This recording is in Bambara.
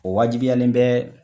O wajibiyalen bɛ